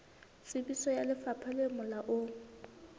tsebiso ya lefapha le molaong